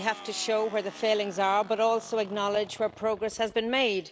We have to show where the failings are but also acknowledge where progress has been made.